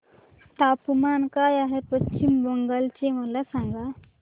तापमान काय आहे पश्चिम बंगाल चे मला सांगा